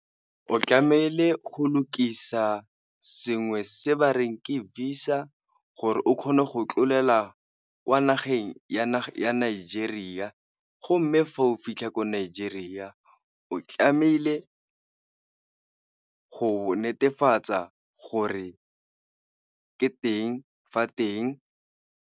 O tlamehile go lokisa sengwe se ba reng ke visa gore o kgone go tlolela kwa nageng ya Nigeria, go mme fa o fitlha ko Nigeria o tlamehile go netefatsa gore ke teng fa teng.